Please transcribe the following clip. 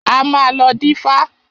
A máa lọ dífá.